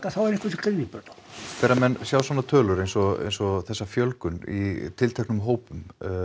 þá er einhver sem grípur þá þegar menn sjá svona tölur eins og eins og þessa fjölgun í tilteknum hópum